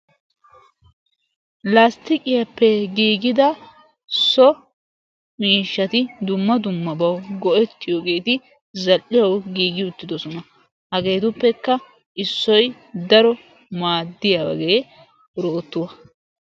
Lastiqqiyappe giigidda so miishshatti dumma dummabawu go'ettiyogetti zal'iyaawu giigi uttidosonna. Hagettuppekka issoy daro maadiyagge orottuwaa.